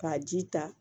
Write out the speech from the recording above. K'a ji ta